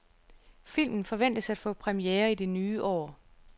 Filmen forventes at få premiere i det nye år.